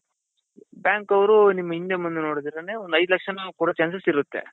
bank ಅವ್ರು ನಿಮ್ಗ್ ಹಿಂದೆ ಮುಂದೆ ನೋಡ್ದಿರಾನೆ ಒಂದ್ ಐದ್ ಲಕ್ಷಾನು ಕೊಡೊ chances ಇರುತ್ತೆ.